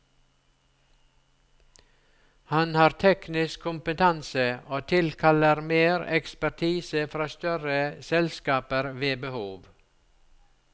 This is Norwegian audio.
Han har teknisk kompetanse og tilkaller mer ekspertise fra større selskaper ved behov.